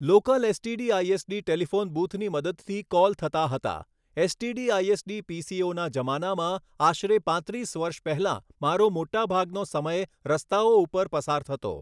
Local STD ISD telephone બુથની મદદથી call થતા હતા ઍસટીડી આઇઍસડી પીસીઓના જમાનામાં આશરે પાંત્રીસ વર્ષ પહેલાં મારો મોટાભાગનો સમય રસ્તાઓ ઉપર પસાર થતો.